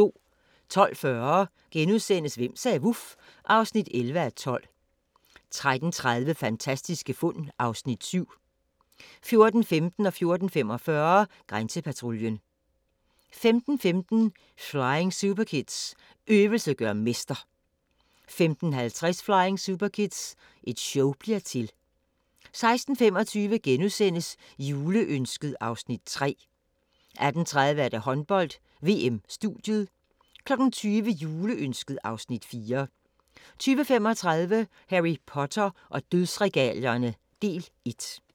12:40: Hvem sagde vuf? (11:12)* 13:30: Fantastiske fund (Afs. 7) 14:15: Grænsepatruljen 14:45: Grænsepatruljen 15:15: Flying Superkids – øvelse gør mester! 15:50: Flying Superkids – et show bliver til! 16:25: Juleønsket (Afs. 3)* 18:30: Håndbold: VM - studiet 20:00: Juleønsket (Afs. 4) 20:35: Harry Potter og Dødsregalierne – del 1